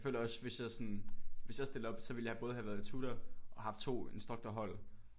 Jeg føler også sådan hvis jeg sådan hvis jeg stiller op så ville jeg både have været tutor og haft 2 instruktorhold